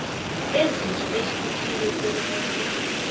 bezinto behlukile kobunye